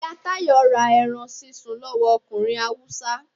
iya tayo ra erán sísún lowo ọkunrín Hawúsa